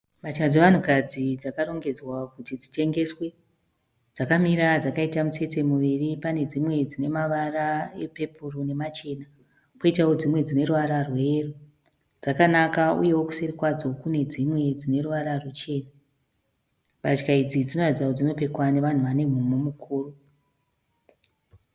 Mbatya dzevanhukadzi dzakarongedzwa kuti dzitengeswe. Dzakamira dzakaita mitsetse miviri. Pane dzimwe dzine mavara epepuro namachena, kwoitawo dzimwe dzine ruvara rweyero, dzakanaka uyewo kuseri kwadzo kune dzimwe dzine ruvara ruchena. Mbatya idzi dzinoratidza kuti dzinopfekwa navanhu vane mhumhu mukuru.